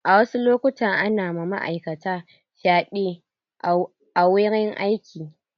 A wasu lokutan ana ma ma'aikata fyaɗe a wurin aiki.